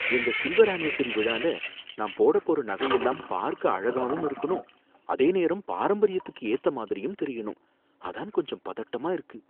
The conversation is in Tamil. எங்க சில்வர் அனிவர்சரி விழால நான் போடப் போற நகை எல்லாம் பார்க்க அழகாவும் இருக்கணும் அதே நேரம் பாரம்பரியத்துக்கு ஏத்த மாதிரியும் தெரியணும், அதான் கொஞ்சம் பதட்டமா இருக்கு